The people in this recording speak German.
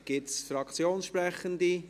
Gibt es Fraktionssprechende?